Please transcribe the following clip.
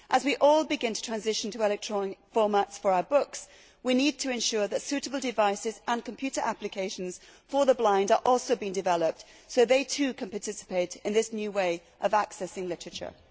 As we all begin to make the transition to electronic formats for our books, we need to ensure that suitable devices and computer applications for the blind are also being developed so that they too can participate in this new way of accessing literature.